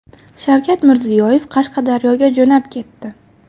Shavkat Mirziyoyev Qashqadaryoga jo‘nab ketdi.